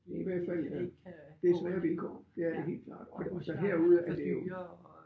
Det i hvert fald da det er svære vilkår det er det helt klart og og så herude er det jo